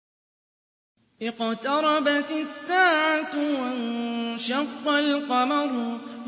اقْتَرَبَتِ السَّاعَةُ وَانشَقَّ الْقَمَرُ